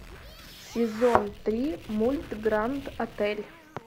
сезон три мульт гранд отель